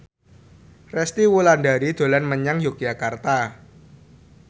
Resty Wulandari dolan menyang Yogyakarta